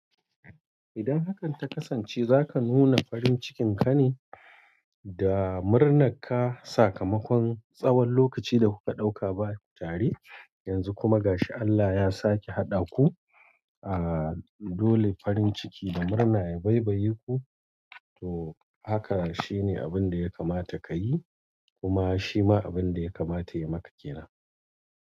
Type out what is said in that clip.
Idan hakan ta kasance, zaka nuna farin cikin ka ne da murna ka sakamakon tsawon lokaci da ku ɗauka baku tare, yanzu kuma gashi Allah ya sake haɗa ku, a Aa dole farin ciki da murna ya baibayeku to haka shine abun da ya kamata kayi kuma shi ma abun da ya kamata ya maka kenan.